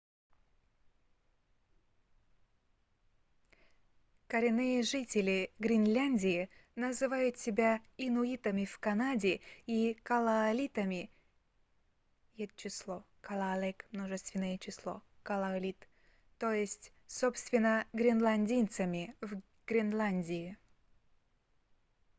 коренные жители гренландии называют себя инуитами в канаде и калааллитами ед.ч. — kalaalleq мн. ч. — kalaallit то есть собственно гренландцами в гренландии